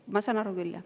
Ma saan aru küll, jah.